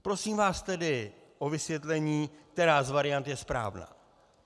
Prosím vás tedy o vysvětlení, která z variant je správná.